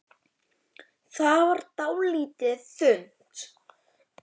Það varð dálítið þunnt.